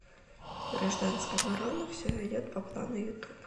гражданская оборона все идет по плану ютуб